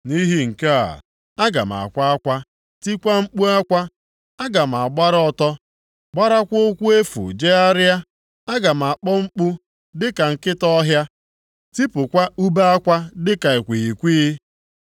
Nʼihi nke a, aga m akwa akwa, tikwaa mkpu akwa. Aga m agbara ọtọ gbarakwa ụkwụ efu jegharịa. Aga m akpọ mkpu dịka nkịta ọhịa, tipụkwa ube akwa dịka ikwighịkwighị.